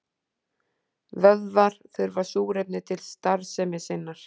Vöðvar þurfa súrefni til starfsemi sinnar.